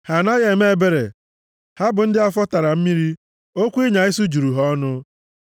Ha anaghị eme ebere, ha bụ ndị afọ tara mmiri, okwu ịnya isi juru ha ọnụ.